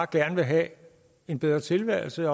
gerne vil have en bedre tilværelse